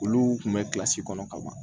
Olu kun bɛ kilasi kɔnɔ ka ban